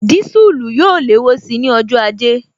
Disulu yóò léwó síi ní ọjọ́ ajé